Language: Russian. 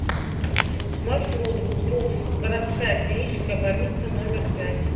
маршрут гбуз городская клиническая больница номер пять